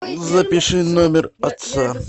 запиши номер отца